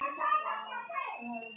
Vindum okkur þá í það.